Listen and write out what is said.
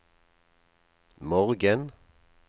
morgen